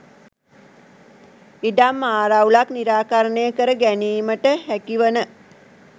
ඉඩම් ආරවුලක් නිරාකරණය කර ගැනීමට හැකිවන